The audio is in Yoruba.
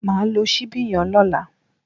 Mà á lo síbí yen lọ́lá